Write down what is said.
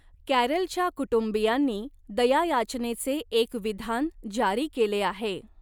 कॅरलच्या कुटुंबीयांनी दयायाचनेचे एक विधान जारी केले आहे.